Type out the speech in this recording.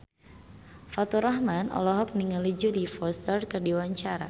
Faturrahman olohok ningali Jodie Foster keur diwawancara